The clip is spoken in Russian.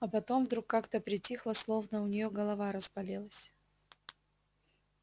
а потом вдруг как-то притихла словно у неё голова разболелась